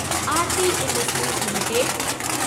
Aarti industries limited